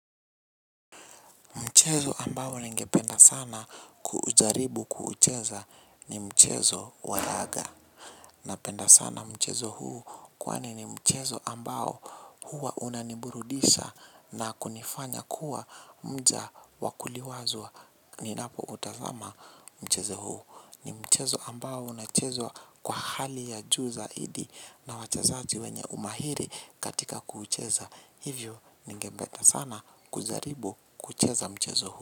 Mchezo ambao nengependa sana kuujaribu kuucheza ni mchezo wa laga. Na penda sana mchezo huu kwani ni mchezo ambao huwa unaniburudisha na kunifanya kuwa mja wakuliwazwa. Ninapo utazama mchezo huu ni mchezo ambao unachezwa kwa hali ya juu zaidi na wachezaji wenye umahiri katika kuucheza. Hivyo nigependa sana kujaribu kucheza mchezo huu.